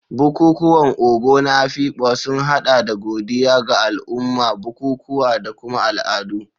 Bukukuwan Ogo na Afikpo sun hada da godiya ga al'umma, bukukuwa, da kuma al'adu.